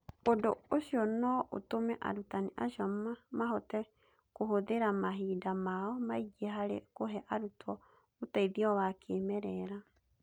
Ũndũ ũcio no ũtũme arutani acio mahote kũhũthĩra mahinda mao maingĩ harĩ kũhe arutwo ũteithio wa kĩĩmerera.